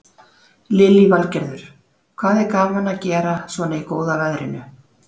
Lillý Valgerður: Hvað er gaman að gera svona í góða veðrinu?